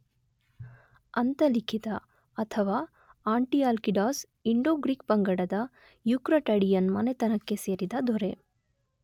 ಅಂತಲಿಕಿತ ಅಥವಾ Antialcidas Indo Greek ಪಂಗಡದ Eucratidian ಮನೆತನಕ್ಕೆ ಸೇರಿದ ದೊರೆ